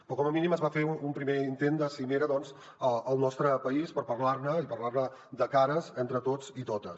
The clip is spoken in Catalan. però com a mínim es va fer un primer intent de cimera doncs al nostre país per parlar ne i parlar ne de cares entre tots i totes